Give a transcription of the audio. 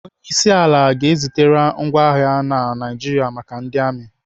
Onyeisiala ga-ezitere ngwa agha na Naijiria maka ndị amị.